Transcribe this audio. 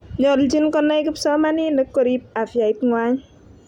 nyolchin kunai kipsomsoninik korip afyait ngwany